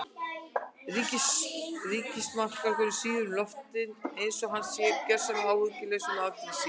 Ríkismarskálkurinn svífur um loftin einsog hann sé gjörsamlega áhyggjulaus um afdrif sín.